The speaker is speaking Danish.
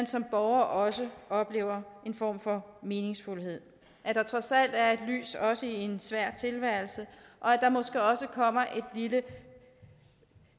som borger også oplever en form for meningsfuldhed at der trods alt er et lys også i en svær tilværelse og at der måske også kommer et lille